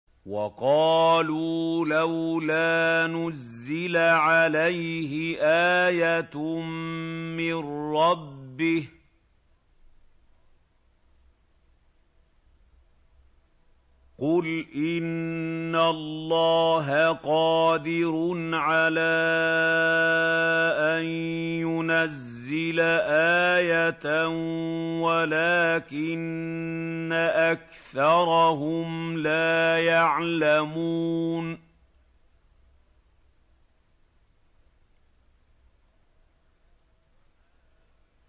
وَقَالُوا لَوْلَا نُزِّلَ عَلَيْهِ آيَةٌ مِّن رَّبِّهِ ۚ قُلْ إِنَّ اللَّهَ قَادِرٌ عَلَىٰ أَن يُنَزِّلَ آيَةً وَلَٰكِنَّ أَكْثَرَهُمْ لَا يَعْلَمُونَ